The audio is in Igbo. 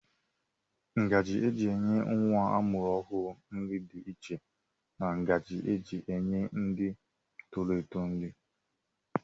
Ngaji eji enye nwa amụrụ ọhụrụ nri dị iche na ngaji eji enye ndị toro eto nri.